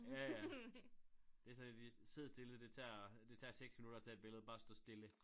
Ja ja det sådan et de sidder stille det tager det tager 6 minutter at tage et billede bare stå stille